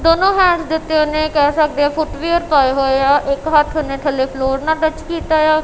ਦੋਨੋ ਹੈਂਡਸ ਦੇ ਉੱਤੇ ਉਹਨੇ ਕਹਿ ਸਕਦੇ ਆ ਫੁੱਟਵੀਅਰ ਪਾਏ ਹੋਏ ਆ ਇੱਕ ਹੱਥ ਉਹਨੇ ਥੱਲੇ ਫਲੋਰ ਨਾਲ ਟੱਚ ਕੀਤਾ ਏ ਆ।